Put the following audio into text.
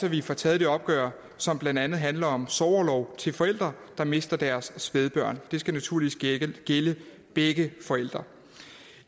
at vi får taget det opgør som blandt andet handler om sorgorlov til forældre der mister deres spædbørn det skal naturligvis gælde begge forældre